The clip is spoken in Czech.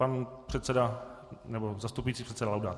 Pan předseda, nebo zastupující předseda Laudát.